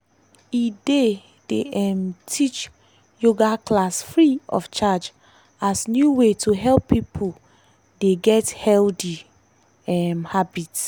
e dey dey um teach yoga class free of charge as new way to help pipo dey get healthy um habits.